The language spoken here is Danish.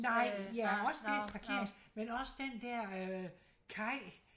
Nej ja også det parkering men også den der øh kaj